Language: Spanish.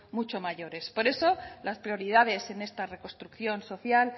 mucho mayores por eso las prioridades en esta reconstrucción social